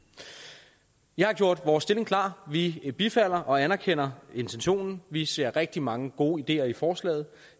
jeg har gjort vores stilling klar vi bifalder og anerkender intentionen vi ser rigtig mange gode ideer i forslaget